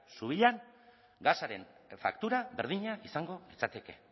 subillan gasaren faktura berdina izango litzateke